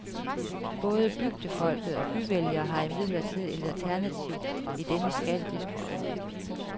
Både bygdefolk og byvælgere har imidlertid et alternativ i denne skattediskussion.